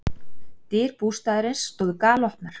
Dyr bústaðarins stóðu galopnar.